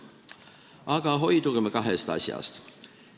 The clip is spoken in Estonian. Aga hoidugem kahest asjast.